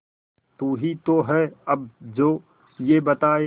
तू ही तो है अब जो ये बताए